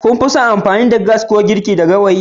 Kun fi son in yi amfani da iskar gas don dafa ko gawayi?